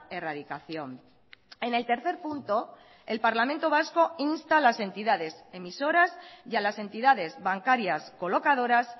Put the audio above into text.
erradicación en el tercer punto el parlamento vasco insta a las entidades emisoras y a las entidades bancarias colocadoras